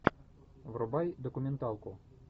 врубай документалку